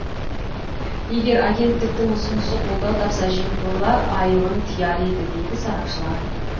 егер агенттіктің ұсынысы қолдау тапса жемқорлар айылын тияр еді дейді сарапшылар